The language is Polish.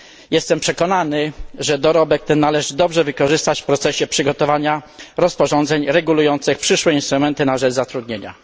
Jestem przekonany, że dorobek ten należy dobrze wykorzystać w procesie przygotowania rozporządzeń regulujących przyszłe instrumenty na rzecz zatrudnienia.